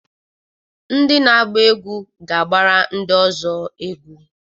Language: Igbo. Ndị na-agba egwu ga-agbara ndi Ọzọ egwu.